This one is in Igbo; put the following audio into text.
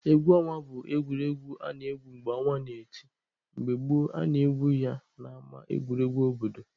Egwu ọnwa bụ egwuregwu a na-egwu mgbe ọnwa n'eti. Mgbe gboo, a na-egwu ya n'ama egwuregwu obodo.